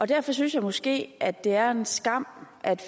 derfor synes jeg måske at det er en skam at